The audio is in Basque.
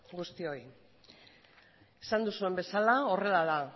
guztioi esan duzuen bezala horrela da